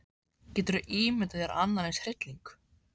Geturðu ímyndað þér annan eins hrylling.